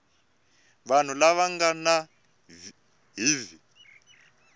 vanhu lava nga na hiv